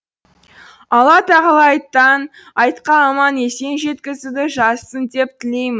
алла тағала айттан айтқа аман есен жеткізуді жазсын деп тілеймін